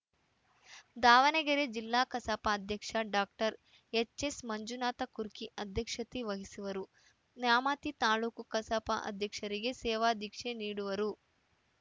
ದಾವಣಗೆರೆ ಜಿಲ್ಲಾ ಕಸಾಪ ಅಧ್ಯಕ್ಷ ಡಾಕ್ಟರ್ ಎಚ್‌ಎಸ್‌ಮಂಜುನಾಥ ಕುರ್ಕಿ ಅಧ್ಯಕ್ಷತೆ ವಹಿಸುವರು ನ್ಯಾಮತಿ ತಾಲೂಕು ಕಸಾಪ ಅಧ್ಯಕ್ಷರಿಗೆ ಸೇವಾದೀಕ್ಷೆ ನೀಡುವರು